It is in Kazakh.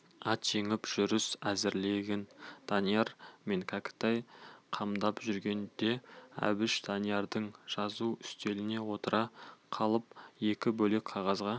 ат жегіп жүріс әзірлігін данияр мен кәкітай қамдап жүргенде әбіш даниярдың жазу үстеліне отыра қалып екі бөлек қағазға